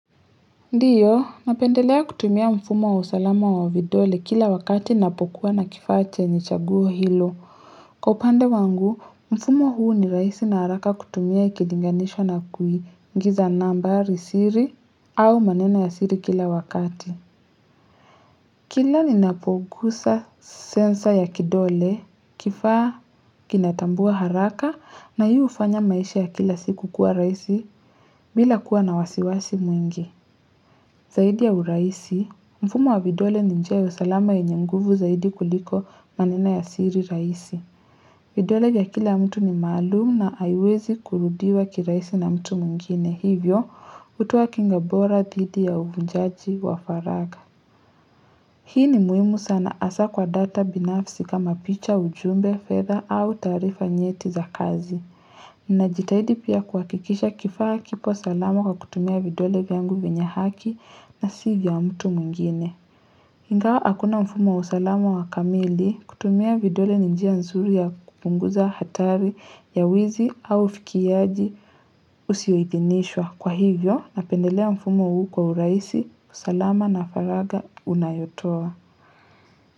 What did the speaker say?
Ndiyo, napendelea kutumia mfumo wa usalama wa vidole kila wakati napokuwa na kifaa chenye chaguo hilo. Kwa upande wangu, mfumo huu ni rahisi na haraka kutumia ikilinganishwa na kuingiza nambari siri au maneno ya siri kila wakati. Kila ninapoguza sensa ya kidole, kifaa kinatambua haraka na hii hufanya maisha ya kila siku kuwa rahisi bila kuwa na wasiwasi mwingi. Zaidi ya urahisi, mfumo wa vidole ni njia ya usalama yenye nguvu zaidi kuliko maneno ya siri rahisi. Vidole ya kila mtu ni maalum na haiwezi kurudiwa kirahisi na mtu mwngine hivyo hutoa kinga bora didi ya uvunjaji wa faraga. Hii ni muhimu sana hasa kwa data binafsi kama picha, ujumbe, fedha au taarifa nyeti za kazi. Ninajitahidi pia kuhakikisha kifaa kipo salama kwa kutumia vidole vyangu vinyehaki na sivya mtu mwingine. Ingawa hakuna mfumo wa usalama wa kamili, kutumia vidole njia nzuri ya kupunguza hatari ya wizi au fikiaji usioidhinishwa. Kwa hivyo, napendelea mfumo huu kwa urahisi, usalama na faraga unayotoa.